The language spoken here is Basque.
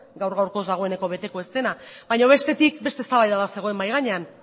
gaur gaurkoz dagoeneko beteko ez dena baina bestetik beste eztabaida bat zegoen mahai gainean